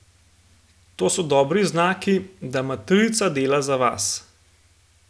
To so dobri znaki, da matrica dela za vas.